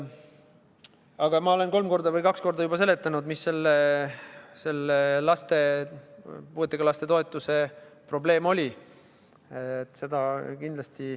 Aga ma olen juba kaks või kolm korda seletanud, mis selle puuetega laste toetuse probleem oli.